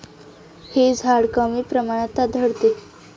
हे झाड कमी प्रमाणात आढळते.